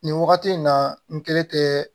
Nin wagati in na n kɛlen tɛ